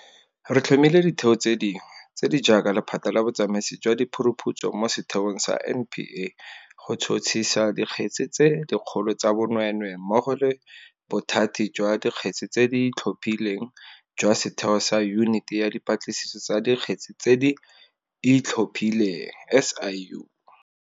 Re tlhomile ditheo tse dingwe, tse di jaaka Lephata la Botsamaisi jwa Diphuruphutso mo setheong sa NPA go tšhotšhisa dikgetse tse dikgolo tsa bonweenwee mmogo le Bothati jwa Dikgetse tse di Itlhophileng jwa setheo sa Yuniti ya Dipatlisiso tsa Dikgetse tse di Itlhophileng, SIU.